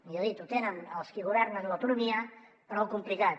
millor dit ho tenen els qui governen l’autonomia prou complicat